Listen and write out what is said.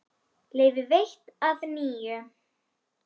Leyfi veitt að nýju